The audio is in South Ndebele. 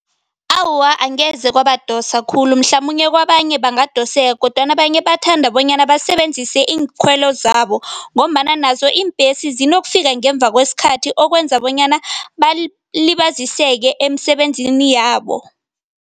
Awa, angeze kwabadosa khulu mhlamunye kwabanye bangadoseka kodwana abanye bathanda bonyana basebenzise iinkhwelo zabo ngombana nazo iimbhesi zinokufika ngemva kwesikhathi okwenza bonyana balibaziseka emisebenzini yabo.